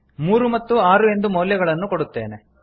ಮೂರು ಮತ್ತು ಆರು ಎಂದು ಮೌಲ್ಯಗಳನ್ನು ಕೊಡುತ್ತೇನೆ